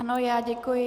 Ano, já děkuji.